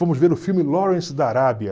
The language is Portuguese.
Fomos ver o filme Lawrence da Arábia.